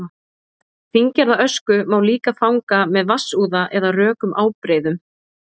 fíngerða ösku má líka fanga með vatnsúða eða rökum ábreiðum